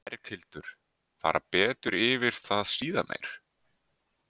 Berghildur: Fara betur yfir það síðar meir?